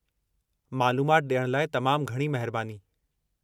मालूमात ॾियण लाइ तमामु घणी महिरबानी।